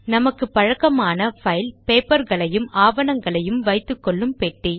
நமக்கு பழக்கமான பைல் பேப்பர்களையும் ஆவணங்களையும் வைத்துக்கொள்ளும் பெட்டி